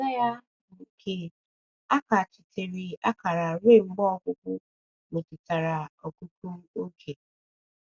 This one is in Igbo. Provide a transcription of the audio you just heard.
Azịza Azịza ya, bụ́ nke ‘ a kachitere akara ruo mgbe ọgwụgwụ, ’ metụtara ọgụgụ oge the text.